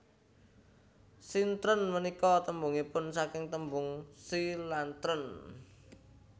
Sintren punika tembungipun saking tembung Si lan tren